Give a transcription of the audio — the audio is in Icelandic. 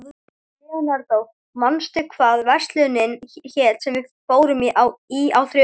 Leonardó, manstu hvað verslunin hét sem við fórum í á þriðjudaginn?